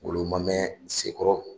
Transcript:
Ngolo ma mɛn Sekɔrɔ.